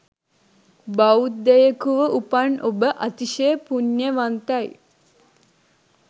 බෞද්ධයකුව උපන් ඔබ අතිශය පුණ්‍යවන්තයි.